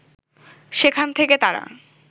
সেখান থেকে তারা